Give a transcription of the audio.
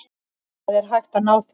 Það er hægt að ná því.